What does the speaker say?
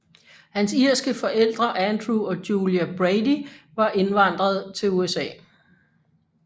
Hans irske forældre Andrew og Julia Brady var indvandret til USA